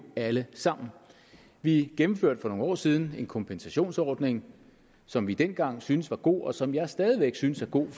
alle sammen vi gennemførte for nogle år siden en kompensationsordning som vi dengang syntes var god og som jeg stadig væk synes er god